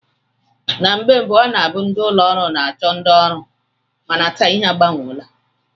Na mgbe mbụ ọ na-abụ ndị ụlọọrụ na-achọ ndị ọrụ mana taa ihe agbanweela